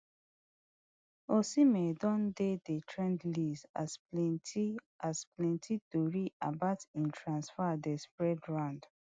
osimhen don dey di trend list as plenti as plenti tori about im transfer dey spread round